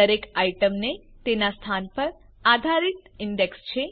દરેક આઈટમને તેના સ્થાન પર આધારિત ઇન્ડેક્સ છે